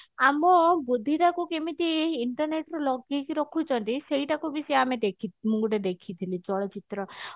ଆମ ବୁଦ୍ଧି ତାକୁ କେମିତି internet ରେ ଲଗେଇକି ରଖୁଛନ୍ତି ସେଇଟାକୁ ବି ସିଏ ଆମେ ମୁଁ ଗୋଟେ ଦେଖିଥିଲି ଚଳଚିତ୍ର